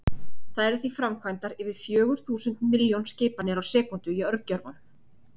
Það eru því framkvæmdar yfir fjögur þúsund milljón skipanir á sekúndu í örgjörvanum!